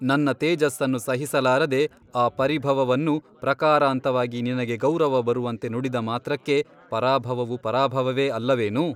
ನನ್ನ ತೇಜಸ್ಸನ್ನು ಸಹಿಸಲಾರದೆ ಆ ಪರಿಭವವನ್ನು ಪ್ರಕಾರಾಂತವಾಗಿ ನಿನಗೆ ಗೌರವ ಬರುವಂತೆ ನುಡಿದ ಮಾತ್ರಕ್ಕೆ ಪರಾಭವವು ಪರಾಭವವೇ ಅಲ್ಲವೇನು?